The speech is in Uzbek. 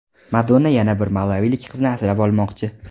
Madonna yana bir malavilik qizni asrab olmoqchi.